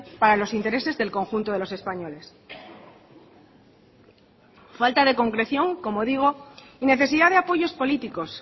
para los intereses del conjunto de los españoles falta de concreción como digo y necesidad de apoyos políticos